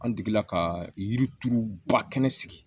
An degela ka yirituru ba kɛnɛ sigi